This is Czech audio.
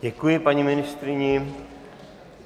Děkuji paní ministryni.